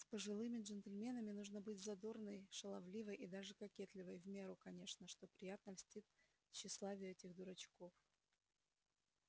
с пожилыми джентльменами нужно быть задорной шаловливой и даже кокетливой в меру конечно что приятно льстит тщеславию этих дурачков